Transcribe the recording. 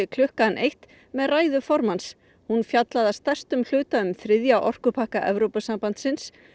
klukkan eitt með ræðu formanns hún fjallaði að stærstum hluta um þriðja orkupakka Evrópusambandsins